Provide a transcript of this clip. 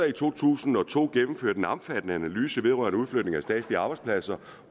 i to tusind og to gennemført en omfattende analyse vedrørende udflytning af statslige arbejdspladser